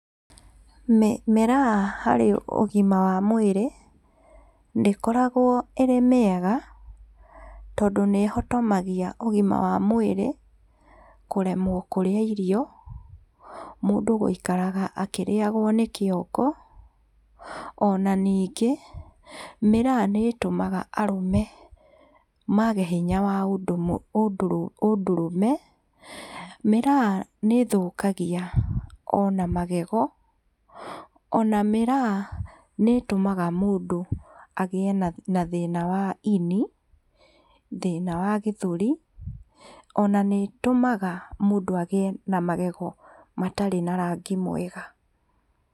Mĩraa harĩ ũgima wa mwĩrĩ, nĩkoragwo ĩrĩ mĩega, tondũ nĩhotomagia ũgima wa mwĩrĩ, kũremwo kũrĩa irio ,mũndũ gũikara akĩrĩagwo nĩ Kĩongo, ona na ningĩ, mĩraa nĩ ĩtũmaga arũme mage hinya wa ũndũrũme .Mĩraa nĩ ĩthũkagia ona magego, na mũraya nĩĩtũmaga mũndũ agĩe na thĩna wa ino, thĩna wa gĩthũrĩ, ona nĩĩtũmaga mũndũ agĩe na magego matarĩ mega.